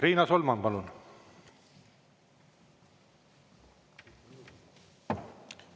Riina Solman, palun!